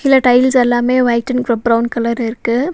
உள்ள டைல்ஸ் எல்லாமே white and ப்ர பிரவுன் கலர்ர இருக்கு.